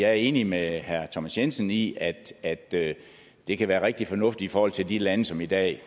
er enig med herre thomas jensen i at det det kan være rigtig fornuftigt i forhold til de lande som i dag